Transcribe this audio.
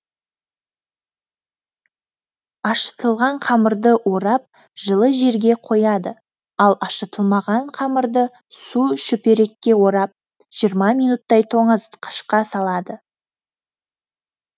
ашытылған қамырды орап жылы жерге қояды ал ашытылмаған қамырды су шүперекке орап жиырма минуттай тоңазытқышқа салады